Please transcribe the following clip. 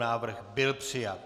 Návrh byl přijat.